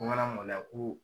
Ko n kana maloya ko